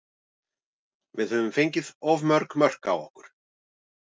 Við höfum fengið of mörg mörk á okkur.